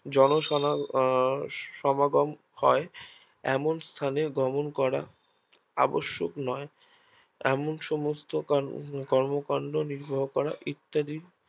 জন আহ সমাগম হয় এমন স্থানে গমন করা আবশ্যক নয় এমন সমস্ত কর্ম কান্ড নির্বাহ করা ইত্যাদি